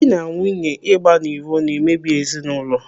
Dị na nwunye ịgba n'iro na emebi ezinaụlọ.